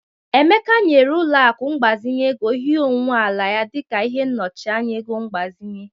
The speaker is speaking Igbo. Emeka nyere ụlọaku mgbazinye ego ihe onwuwe ala ya dịka ihe nnochianya ego mgbazinye.